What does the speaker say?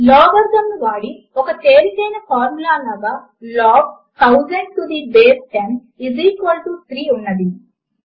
logarithm ను వాడి ఒక తేలికైన ఫార్ములాగా log 1000 to the base 10 is equal to 3 ఉన్నది